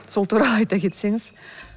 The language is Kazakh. сол туралы айта кетсеңіз